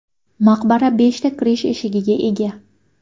Maqbara beshta kirish eshigiga ega.